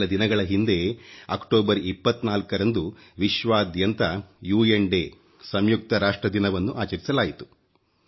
ಕೆಲ ದಿನಗಳ ಹಿಂದೆ ಅಕ್ಟೋಬರ್ 24ರಂದು ವಿಶ್ವಾದ್ಯಂತ ಯುಎನ್ ಡೇ ಸಂಯುಕ್ತ ರಾಷ್ಟ್ರ ದಿನವನ್ನು ಆಚರಿಸಲಾಯಿತು